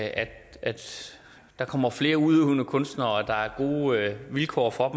have at der kommer flere udøvende kunstnere og at der er gode vilkår for